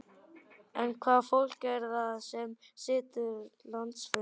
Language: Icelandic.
En hvaða fólk er það sem situr landsfund?